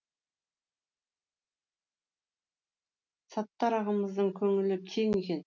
саттар ағамыздың көңілі кең екен